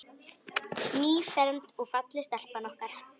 Nýfermd og falleg stelpan okkar.